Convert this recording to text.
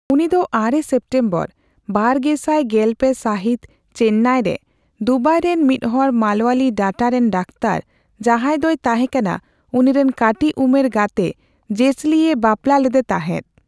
ᱩᱱᱤᱫᱚ ᱟᱨᱮ ᱥᱮᱯᱴᱮᱢᱵᱚᱨ ᱵᱟᱨᱜᱮᱥᱟᱭ ᱜᱮᱞᱯᱮ ᱥᱟᱦᱤᱛ ᱪᱮᱱᱱᱟᱭᱨᱮ, ᱫᱩᱵᱟᱭᱨᱮᱱ ᱢᱤᱫ ᱦᱚᱲ ᱢᱟᱞᱣᱟᱞᱤ ᱰᱟᱴᱟ ᱨᱮᱱ ᱰᱟᱠᱛᱚᱨ, ᱡᱟᱦᱟᱸᱭ ᱫᱚᱭ ᱛᱟᱦᱮᱸᱠᱟᱱᱟ ᱩᱱᱤᱨᱮᱱ ᱠᱟᱹᱴᱤᱡ ᱩᱢᱮᱨ ᱜᱟᱛᱮ ᱡᱮᱥᱞᱤ ᱮ ᱵᱟᱯᱞᱟ ᱞᱮᱫᱮ ᱛᱟᱸᱦᱮᱫ ᱾